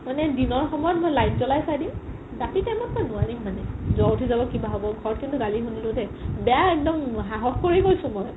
মানে দিনৰ সময়ত মই light জলাই চাই দিম ৰাতি time ত মই নোৱাৰিম মানে জ'ৰ উথি যাব কিবা হ'ব ঘৰত কিন্তু গালি শুনিলো দেই বেয়া একদম সাহস কৰি কৈছো মই